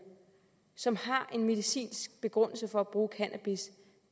som har en medicinsk begrundelse for at bruge cannabis